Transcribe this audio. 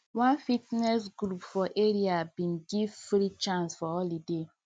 one fitness group for area bin give free chance for holiday